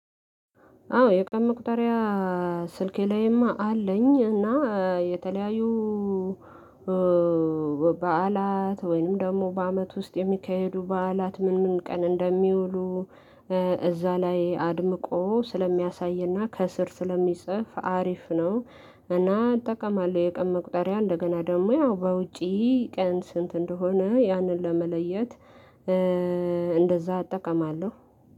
አዎ የቀን መቁጠሪያ ስልኬ ላይማ አለኝ እና የተለያዩ በዓላት ወይንም ደግሞ በአመት ውስጥ የሚካሄዱ በዓላት ምን ምን ቀን እንደሚውሉ እዛ ላይ አድምቆ ስለሚያሳይና ከስር ስለሚጽፍ አሪፍ ነው። እና እጠቀማለሁ የቀን መቁጠሪያ እንደገና ደግሞ ያው በውጪ ቀን ስንት እንደሆነ ያንን ለመለየት። እንደዛ አጠቃማለሁ።